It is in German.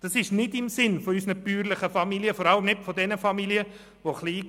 Das wäre nicht im Sinne unserer bäuerlichen Familien, gerade von jenen mit Kleingewerbe.